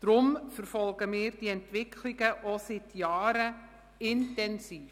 Darum verfolgen wir diese Entwicklungen seit Jahren intensiv.